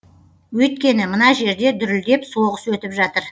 өйткені мына жерде дүрілдеп соғыс өтіп жатыр